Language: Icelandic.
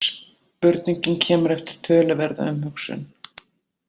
Spurningin kemur eftir töluverða umhugsun.